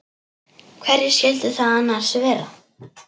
Hverjir skyldu það annars vera?